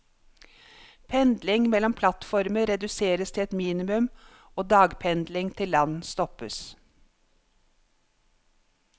Pendling mellom plattformer reduseres til et minimum, og dagpendling til land stoppes.